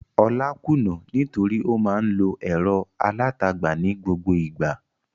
Olá kùnnà nítorí ó máa ń lo ẹ̀rọ alátagbà ní gbogbo ìgbà.